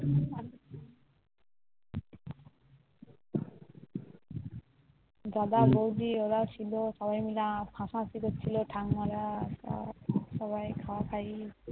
দাদা বৌদি ওরাও ছিল সবাই মিলে হাসা হাসি করছিলো সব খাওয়া খাওয়াই